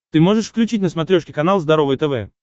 ты можешь включить на смотрешке канал здоровое тв